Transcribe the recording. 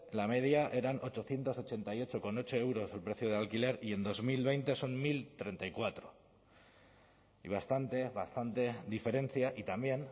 la media eran ochocientos ochenta y ocho coma ocho euros el precio del alquiler y en dos mil veinte son mil treinta y cuatro y bastante bastante diferencia y también